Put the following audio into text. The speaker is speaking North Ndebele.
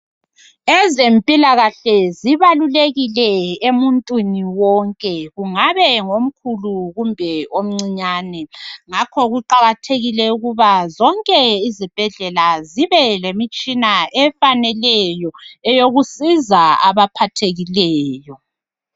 Ezempilakahle zibalulekile emuntwini wonke kungabe ngomkhulu kumbe omcinyane ngakho kuqakathekile ukuba zonke izibhedlela zibe lemitshina efaneleyo zokusiza abaphathekileyo